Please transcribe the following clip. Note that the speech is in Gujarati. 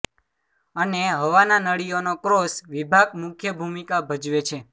અને હવાના નળીઓનો ક્રોસ વિભાગ મુખ્ય ભૂમિકા ભજવે છે